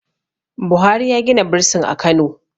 buhari ya Gina bursin a Kano